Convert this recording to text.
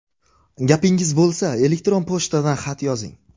Gapingiz bo‘lsa, elektron pochtadan xat yozing.